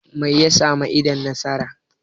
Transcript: me ya samu idon nasa?